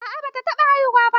A'a ba ta haihu ba.